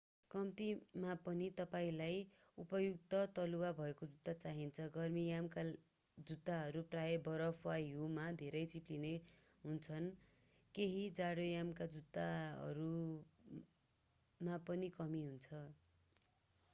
कम्तिमा पनि तपाईंलाई उपयुक्त तलुवा भएको जुत्ता चाहिन्छ गर्मीयामका जुत्ताहरू प्रायः बरफ र हिउँमा धेरै चिप्लिने हुन्छन् केही जाडोयामका जुत्ताहरूमा पनि कमी हुन्छ